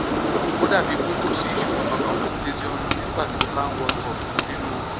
ó dà bíi pé kò sí ìṣòro kankan fún ezeonu nígbà tó bá ń wakọ̀ nínú